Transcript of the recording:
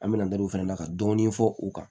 An bɛna n'o fɛnɛ na ka dɔɔni fɔ u kan